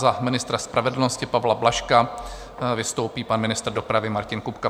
Za ministra spravedlnosti Pavla Blažka vystoupí pan ministr dopravy Martin Kupka.